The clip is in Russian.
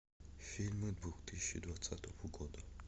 фильмы двух тысячи двадцатого года